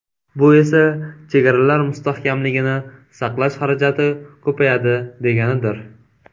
Bu esa chegaralar mustahkamligini saqlash xarajati ko‘payadi deganidir.